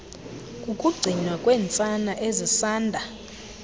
kukugcinwa kweentsana ezisanda